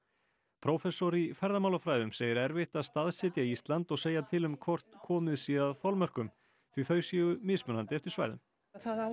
prófessor í ferðamálafræðum segir erfitt að staðsetja Ísland og segja til um hvort komið sé að þolmörkum því þau séu mismunandi eftir svæðum það á